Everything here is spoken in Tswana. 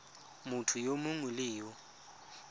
motho yo mongwe le yo